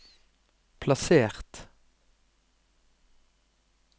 plassert